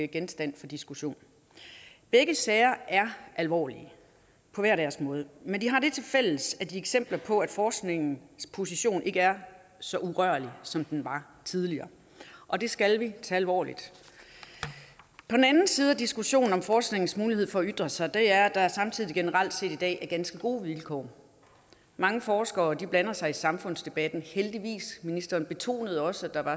genstand for diskussion begge sager er alvorlige på hver deres måde men de har det tilfælles at de er eksempler på at forskningens position ikke er så urørlig som den var tidligere og det skal vi tage alvorligt den anden side af diskussionen om forskningens mulighed for at ytre sig er at der samtidig generelt set i dag er ganske gode vilkår mange forskere blander sig heldigvis i samfundsdebatten ministeren betonede også at der